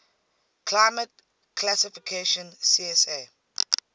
climate classification csa